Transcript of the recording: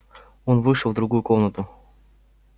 он вышел в другую комнату